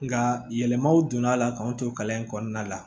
Nka yɛlɛmaw donn'a la k'anw to kalan in kɔnɔna la